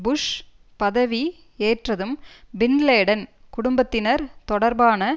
push பதவி ஏற்றதும் bin Laden குடும்பத்தினர் தொடர்பான